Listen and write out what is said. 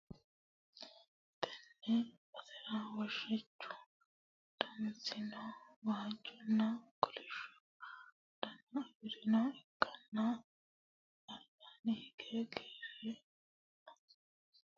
Tenne basera woshichu danasino waajjonna kolisho dana afirinoha ikkanna albasiinni higge gaare leeltanno isino tenne gaarera woroonni uurre nooha lawanoe